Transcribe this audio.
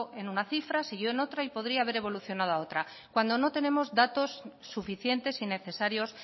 en una cifra siguió en otra y podría haber evolucionado a otra cuando no tenemos datos suficientes y necesarios